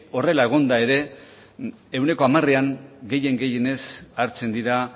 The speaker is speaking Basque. horrela egonda ere ehuneko hamarean gehien gehienez hartzen dira